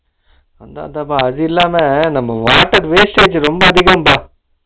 அத அத அதில்லாம நம்ம water wastage ரொம்ப அதிகம்ப்பா